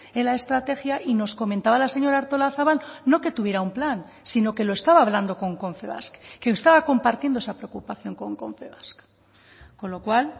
en la estrategia y nos comentaba la señora artolazabal no que tuviera un plan sino que lo estaba hablando con confebask que estaba compartiendo esa preocupación con confebask con lo cual